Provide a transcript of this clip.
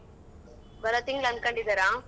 ಬರಾ ತಿಂಗ್ಳ್ ಅನ್ಕೊಂಡಿದಾರಾ?